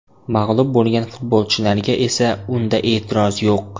Mag‘lub bo‘lgan futbolchilarga esa unda e’tiroz yo‘q.